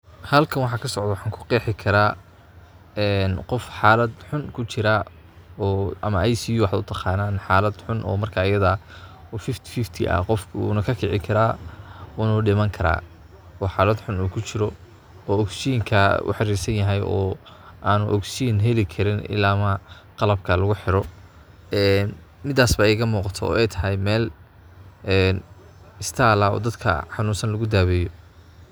Halkan waxa kasocdo waxan kuqexi kara, en qoof xalad xun kujira oo ama ICU waxad utaqantan xalad xun, oo marka ayada oo kontonki boo konton ah. oo qofka una kakici kara una udimani kara ,oo xalad xun kujiro oo ogzijinka oxarirsanyahy oo an ogzigin heli karin ila maa qalabka lagu xiro en midas baa igamuqat,o oo ay tahy mel en isbatal ah dadka xanunsan lagu dabeyo.